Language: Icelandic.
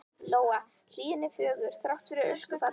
Lóa: Hlíðin er fögur, þrátt fyrir öskufallið?